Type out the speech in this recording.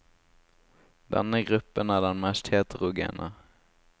Denne gruppen er den mest heterogene.